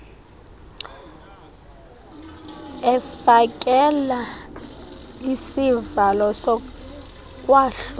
efakela isivalo sokwahlula